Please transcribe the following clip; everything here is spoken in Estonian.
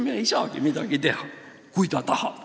Inimene ei saagi midagi teha, isegi kui ta on tahtnud.